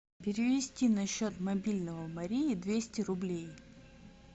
перевести на счет мобильного марии двести рублей